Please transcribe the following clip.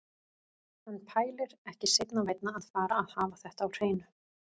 Hann pælir, ekki seinna vænna að fara að hafa þetta á hreinu.